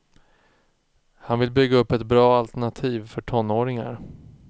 Han vill bygga upp ett bra alternativ för tonåringar.